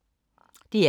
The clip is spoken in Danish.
DR K